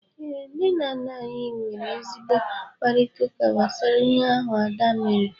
Ee, nne na nna anyị nwere ezigbo mkparịtaụka gbasara ihe ahụ Ada mere.